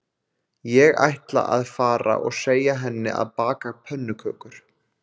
Ég ætla að fara og segja henni að baka pönnukökur